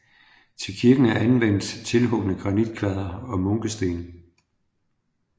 Til kirken er anvendt tilhugne granitkvadre og munkesten